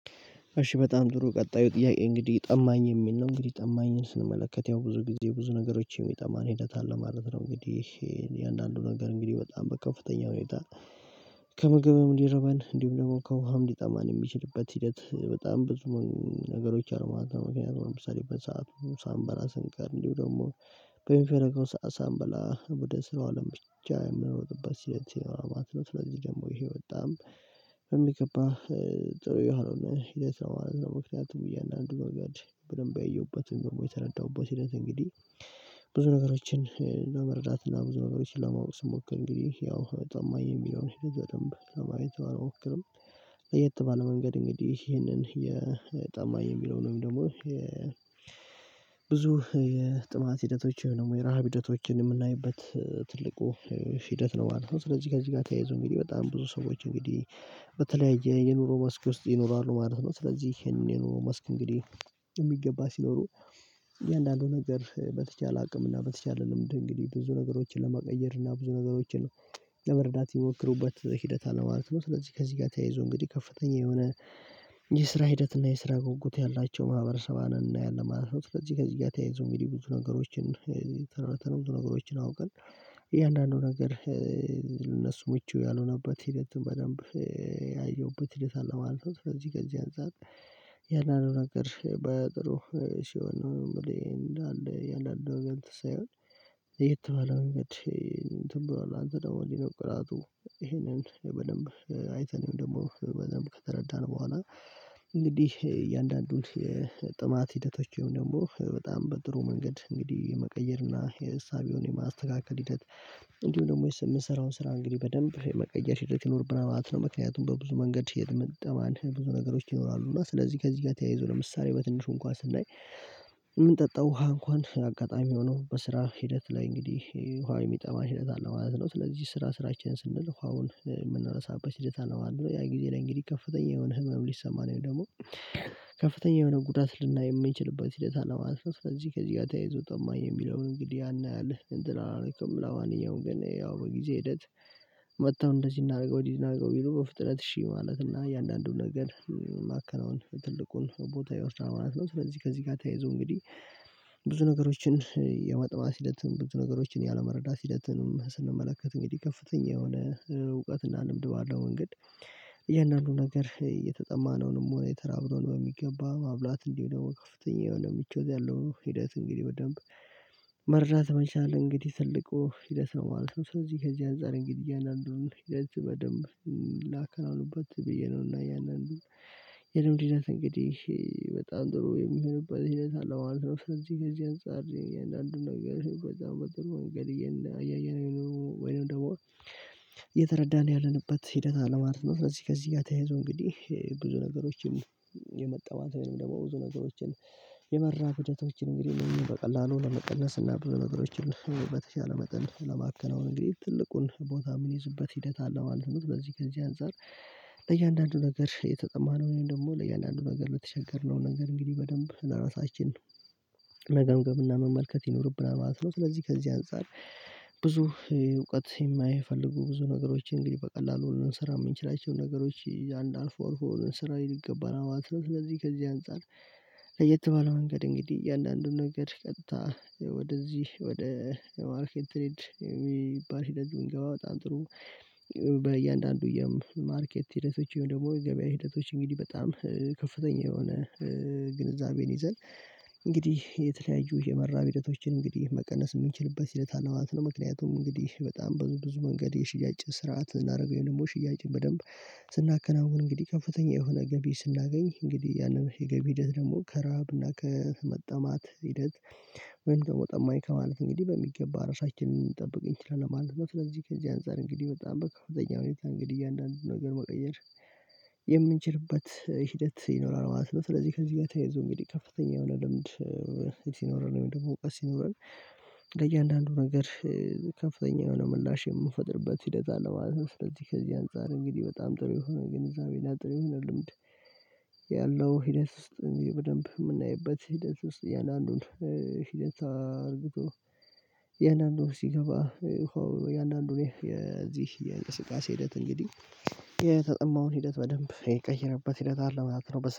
እሺ በጣም ጥሩ ቀጣዩ ጥያቄ እንግዲህ ጠማኝ የሚል ነው እንግዲህ ጠማኝን ስንመለከት ያው ብዙ ጊዜ ብዙ ነገሮች የሚጠማን ሂደት አለ ማለት ነው። እንግዲህ የእያንዳንዱ ነገር እንግዲህ በጣም በከፍተኛ ሁኔታ ከምግብም እንዲርበን እንዲሁም ደግሞ ከውሃም ዲጠማን የሚችልበት ሂደት በጣም ብዙ ነገሮች አርማታ ምክንያቱም ለምሳሌ በሰአቱ ሳንበላ ስንቀር እንዲሁም ደግሞ በሚፈለገው ሰዓት ሳንበላ ወደ ስራው አለም ብቻ የምንሮጥበት ሂደት ይኖራል። ማለት ነው ስለዚህ ደግሞ ይሄ በጣም በሚገባ ጥሩ የሆነ ሂደት ነው ማለት ነው። ምክንያቱም እያንዳንዱ ረገድ በደንብ ያየሁበትን ወይም ደግሞ የተረዳሁበት ሂደት እንግዲህ ብዙ ነገሮችን ለመረዳት እና ብዙ ነገሮችን ለማወቅ ስሞክር እንግዲህ ያው ታማኝ የሚለውን በደንብ ለማየት ባል ሞክርም። ለየት ባለ መንገድ እንግዲህ ይሄንን የ ጠማኝ የሚለው ነው። ወይም ደግሞ ብዙ የጥማት ሂደቶች ደግሞ የረሃብ ሂደቶችን የምናይበት ትልቁ ሂደት ነው ማለት ነው። ስለዚህ ጋር እዚህ ጋር ተያይዞ እንግዲህ በጣም ብዙ ሰዎች እንግዲህ በተለያየ የኑሮ መስክ ውስጥ ይኖራሉ ማለት ነው። ስለዚህ ይሄንን የኑሮ መስክ እንግዲህ የሚገባ ሲኖሩ እያንዳንዱ ነገር በተቻለ አቅም እና በተቻለ ልምድ እንግዲህ ብዙ ነገሮችን ለመቀየር እና ብዙ ነገሮችን ለመረዳት የሚሞክሩበት ሂደት አለ ነው ማለት ነው። ስለዚህ ከዚህ ጋር ተያይዞ እንግዲህ ከፍተኛ የሆነ የስራ ሂደት እና የስራ ጉጉት ያላቸው ማህበረሰባን እናያለን ማለት ነው። ስለዚህ ከዚህ ጋር ተያይዞ እንግዲህ የሚሉ ብዙ ነገሮችን ተነምቱ ነገሮችን አውቀን እያንዳንዱ ነገር ለነሱ ምቹ ያልሆነበት ሂደት በደንብ ያየሁበት ሂደት አለ ማለት ነው። ስለዚህ ከዚህ አንፃር እያንዳንዱ ነገር በጥሩ ሲሆን ነው የምልህ እንዳለ እያንዳንዱ ነገረ እንትን ሳይሆን መንገድ እንትን ብሏል አንተ ደግሞ እንዲነው ኩራቱ ይሄንን በደንብ አይተን ወይም ደግሞ በደንብ ከተረዳን በኋላ እንግዲህ እያንዳንዱን ጥማት ሂደቶችም ደግሞ በጣም በጥሩ መንገድ እንግዲህ የመቀየር እና የእሳቤውን የማስተካከል ሂደት እንዲሁም ደግሞ የስ የምሰራውን ስራ እንግዲህ በደንብ የመቀየር ሂደት ይኖርብናል ማለት ነው። ምክንያቱም በብዙ መንገድ የተመጣማን ብዙ ነገሮች ይኖራሉ እና ስለዚህ ከዚህ ጋር ተያይዞ ለምሳሌ በትንሹ እንኳን ስናይ የምንጠጣው ውሃ እንኳን አጋጣሚ ሆኖ በስራ ሂደት ላይ እንግዲህ ውሃ የሚጠማ ሂደት አለ ማለት ነው። ስለዚህ ስራ ስራችን ስንል ውሃውን የምንረሳበት ሂደት አለ ማለት ነው። ያን ጊዜ ላይ እንግዲህ ከፍተኛ የሆነ ህመም ሊሰማን ወይም ደግሞ ከፍተኛ የሆነ ጉዳት ልናይ የምንችልበት ሂደት አለ ማለት ነው። ስለዚህ ከዚህ ጋር ተያይዞ ጠማኝ የሚለውን እንግዲህ ያን ያህል እንትን አላረክም ለማንኛውም ግን ያው በጊዜ ሂደት መጥተው እንደዚህ እናድርገው እንደዚህ እናድርገው ቢሉ በፍጥነት እሺ ማለት እና እያንዳንዱን ነገር ማከናወን ትልቁን ቦታ ይወስዳል ማለት ነው። ስለዚህ ከዚህ ጋር ተያይዞ እንግዲህ ብዙ ነገሮችን የመጥማት ሂደት ብዙ ነገሮችን ያለመረዳት ሂደትንም ስንመለከት እንግዲህ ከፍተኛ የሆነ እውቀትና ልምድ ባለው መንገድ እያንዳንዱን ነገር የተጠማነውንም ሆነ የተራብነውን የሚገባ መብላት እንዲሁም ደግሞ ከፍተኛ የሆነ ምቾት ያለው ሂደት እንግዲህ በደንብ መረዳት መቻል አለ እንግዲህ ትልቁ ሂደት ነው ማለት ነው። ስለዚህ ከዚህ አንፃር እንግዲህ እያንዳንዱን ሂደት በደንብ ላከናውንበት ብዬ ነው። እና ያንን የደም ብዛት እንግዲህ በጣም ጥሩ የሚሆንበት ሂደት አለ ማለት ነው። ስለዚህ ከዚህ አንፃር እያንዳንዱን ነገር በጣም በጥሩ መንገድ እና እያየነው የኖሩ ወይንም ደግሞ እየተረዳን ያለንበት ሂደት አለ ማለት ነው። ስለዚህ ከዚህ ጋር ተያይዞ እንግዲህ ብዙ ነገሮችን የመጠማት ወይም ደግሞ ብዙ ነገሮችን የመራብ ሂደቶችን እንግዲህ በቀላሉ ለመቀነስ እና ብዙ ነገሮችን በተቻለ መጠን ለማከናወን እንግዲህ ትልቁን ቦታ የሚይዙበት ሂደት አለ ማለት ነው። ከዚህ አንፃር ለእያንዳንዱ ነገር የተጠማነው ወይም ደግሞ ለእያንዳንዱ ነገር ለተቸገርነው ነገር እንግዲህ በደንብ ለራሳችን መገምገምና መመልከት ይኖርብናል ማለት ነው። ስለዚህ ከዚህ አንፃር ብዙ እውቀት የማይፈልጉ ብዙ ነገሮችን እንግዲህ በቀላሉ ልንሰራ የምችላቸውን ነገሮች ያን አልፎ አርፎ ልንሰራ ይገባናል ነው። ስለዚህ ከዚህ አንፃር ለየት ባለው መንገድ እንግዲህ እያንዳንዱን ነገር ቀጥታ ወደዚህ ወደ ማርኬት ትሬድ የሚባል ሂደት ብንገባ በጣም ጥሩ በእያንዳንዱ የም ማርኬት ሂደቶች ወይም ደግሞ የገበያ ሂደቶች እንግዲህ በጣም ከፍተኛ የሆነ ግንዛቤን ይዘን እንግዲህ የተለያዩ የመራብ ሂደቶችን እንግዲህ መቀነስ የምንችልበት ሂደት አለ ማለት ነው። ምክንያቱም እንግዲህ በጣም ብዙ በብዙ መንገድ የሽያጭ ስርዓት እናደርገው ወይም ደግሞ ሽያጭ በደንብ ስናከናውን እንግዲህ ከፍተኛ የሆነ ገቢ ስናገኝ እንግዲህ ያንን የገቢ ሂደት ደግሞ ከረሃብና እና ከመጠማት ሂደት ወይም ደግሞ ጠማኝ ከማለት እንግዲህ በሚገባ ራሳችንን ልንጠብቅ እንችላለን ማለት ነው። ስለዚህ ከዚህ አንፃር እንግዲህ በጣም በከፍተኛ ሁኔታ እንግዲህ እያንዳንዱን ነገር መቀየር የምንችልበት ሂደት ይኖራል ማለት ነው። ስለዚህ ከዚህ ጋር ተያይዞ እንግዲህ ከፍተኛ የሆነ ልምድ ሲኖረን ወይም ደግሞ እውቀት ሲኖረን ለእያንዳንዱ ነገር ከፍተኛ የሆነ ምላሽ የምንፈጥርበት ሂደት አለ ማለት ነው። ስለዚህ ከዚህ አንፃር እንግዲህ በጣም ጥሩ የሆነ ግንዛቤ እና ጥሩ የሆነ ልምድ ያለው ሂደት ውስጥ በደንብ የምናይበት ሂደት ውስጥ እያንዳንዱን ሂደት አድርጎ እያንዳንዱን ሲገባ ሆ እያንዳንዱን እኔ የዚህ የእንቅስቃሴ ሂደት እንግዲህ የተጠማውን ሂደት በደንብ የቀየረበት ሂደት አለ ማለት ነው። በስ